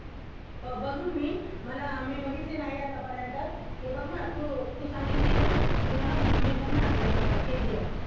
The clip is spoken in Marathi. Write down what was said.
हो बघेन मी मला मी बघितली नाही आतापर्यंत मी बघणार तू तू सांगितली ना मी बघ बघणार KGF